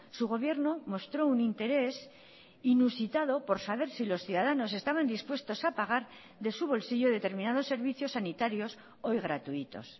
su gobierno mostró un interés inusitado por saber si los ciudadanos estaban dispuestos a pagar de su bolsillo determinados servicios sanitarios hoy gratuitos